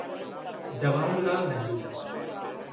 Jawahar Lal Nehru